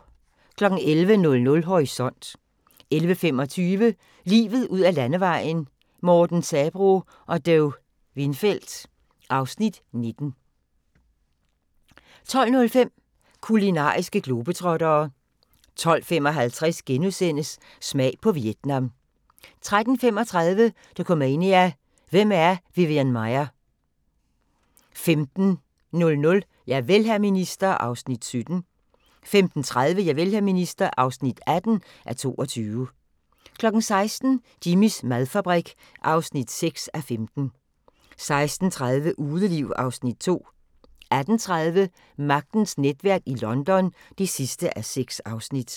11:00: Horisont 11:25: Livet ud ad landevejen: Morten Sabroe og Do Windfeldt (Afs. 19) 12:05: Kulinariske globetrottere 12:55: Smag på Vietnam * 13:35: Dokumania: Hvem er Vivian Maier? 15:00: Javel, hr. minister (17:22) 15:30: Javel, hr. minister (18:22) 16:00: Jimmys madfabrik (6:15) 16:30: Udeliv (Afs. 2) 18:30: Magtens netværk i London (6:6)